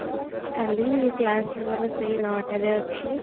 କଲି class ମୋର ସେଇ 9 ଟା ରେ ଅଛି